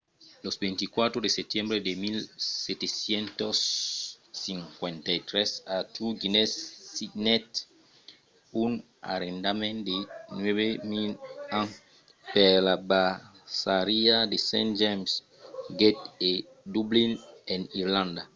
lo 24 de setembre de 1759 arthur guinness signèt un arrendament de 9 000 ans per la braçariá de st james' gate a dublin en irlanda